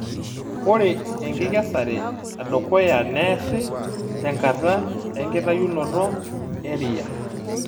Ore enkikesare edukuya neesi tenkata enkitayunoto eriya.